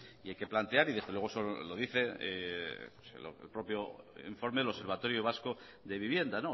hay que plantear y desde luego lo dice el propio informe del observatorio vasco de vivienda